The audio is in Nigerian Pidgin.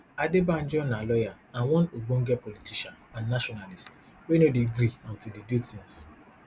adebanjo na lawyer and one ogbonge politician and nationalist wey no dey gree until e do tins